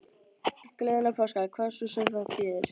Gleðilega páska, hvað svo sem það þýðir.